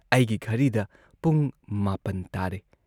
ꯑꯩꯒꯤ ꯘꯔꯤꯗ ꯄꯨꯡ ꯹ ꯇꯥꯔꯦ ꯫